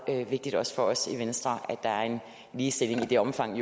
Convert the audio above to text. vigtigt også for os i venstre at der er ligestilling i det omfang